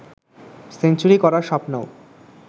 century করার স্বপ্নও